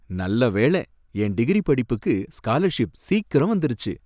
நல்ல வேள, என் டிகிரி படிப்புக்கு ஸ்காலர்ஷிப் சீக்கிரம் வந்துருச்சு.